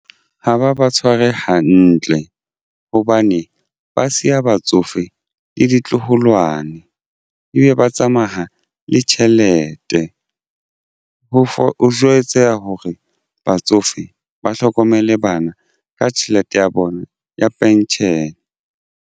Ha ba ba tshware hantle hobane ba siya batsofe le ditloholwane ebe ba tsamaya le tjhelete ho jwetsa hore batsofe ba hlokomele bana ka tjhelete ya bona ya pension.